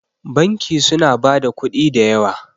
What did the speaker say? banki suna ba da kudi da yawa